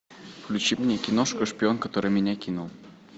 включи мне киношку шпион который меня кинул